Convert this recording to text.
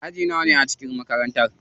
Aji nawane ne a cikin makarantar?